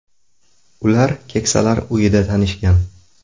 Ular keksalar uyida tanishgan.